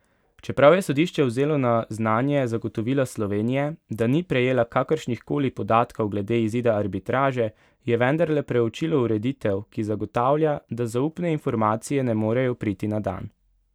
Čeprav je sodišče vzelo na znanje zagotovila Slovenije, da ni prejela kakršnihkoli podatkov glede izida arbitraže, je vendarle preučilo ureditev, ki zagotavlja, da zaupne informacije ne morejo priti na dan.